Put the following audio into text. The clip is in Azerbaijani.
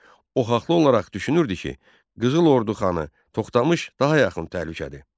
O haqlı olaraq düşünürdü ki, Qızıl Ordu xanı Toxtamış daha yaxın təhlükədir.